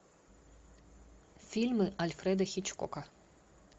фильмы альфреда хичкока